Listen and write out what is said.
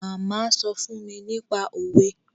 Màmá sọ fún mi nípa òwe